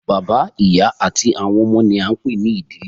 Bàbá, ìyá àti àwọn ọmọ ni a ń pè ní ìdílé